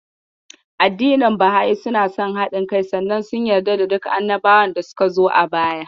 Addinin Baha'i suna son haɗin kai sannan sun yarda da duk annabawan da suka zo a baya.